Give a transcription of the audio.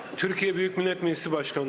Türkiyə Böyük Millət Məclisi Sədrliyinə.